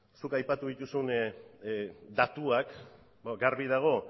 zuk aipatu dituzun datuak garbi dago